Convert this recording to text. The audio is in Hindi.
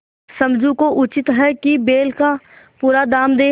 समझू को उचित है कि बैल का पूरा दाम दें